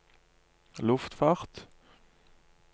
luftfart